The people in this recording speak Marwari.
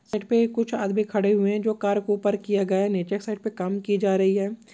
सड़क पर कुछ आदमी खड़े हुए है जो कार को ऊपर किया गया है नीचे की साइड पर काम किए जा रहे है।